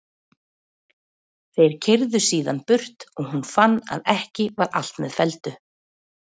Þeir keyrðu síðan burt og hún fann að ekki var allt með felldu.